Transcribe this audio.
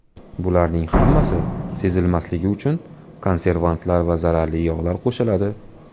Bularning hammasi sezilmasligi uchun konservantlar va zararli yog‘lar qo‘shiladi.